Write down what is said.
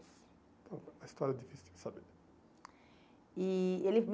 Então, a história é difícil de saber. E ele